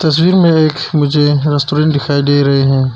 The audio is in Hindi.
तस्वीर में एक मुझे रेस्टोरेंट दिखाई दे रहे है।